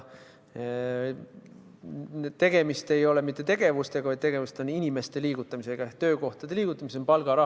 Tegemist ei ole mitte tegevustega, vaid tegemist on inimeste liigutamisega ehk töökohtade liigutamisega.